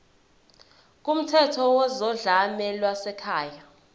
kumthetho wezodlame lwasekhaya